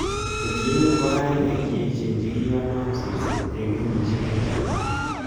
Ketchinet nebo kainaik che echen chekikonom sirset eng kenyisiek chechang